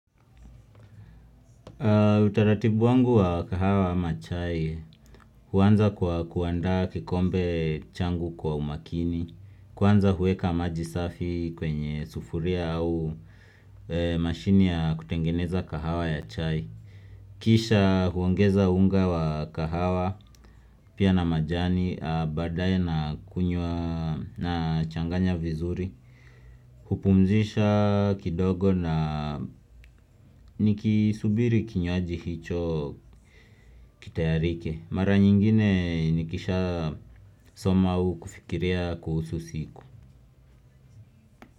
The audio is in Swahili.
Utaratibu wangu wa kahawa ama chai huanza kuandaa kikombe changu kwa umakini, kuanza huweka maji safi kwenye sufuria au mashini ya kutengeneza kahawa ya chai. Kisha kuongeza unga wa kahawa, pia na majani, baadaye na kunywa na changanya vizuri hupumzisha kidogo na nikisubiri kinywaji hicho kitayarike mara nyingine nikishasoma au kufikiria kuhusu siku.